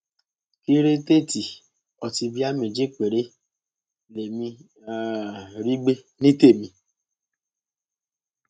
kírétèètì ọtí bíà méjì péré lèmi um rí gbé ní tèmi